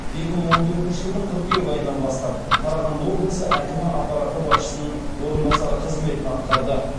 екі мың он төртінші жылдың қыркүйек айынан бастап қарағанды облысы әкімі аппараты басшысының орынбасары қызметін атқарды